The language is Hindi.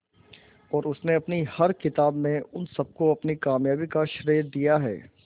और उसने अपनी हर किताब में उन सबको अपनी कामयाबी का श्रेय दिया है